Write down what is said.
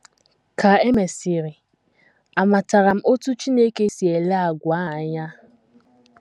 Ka e mesịrị, amatara m otú Chineke si ele àgwà a anya?